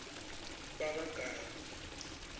bakagama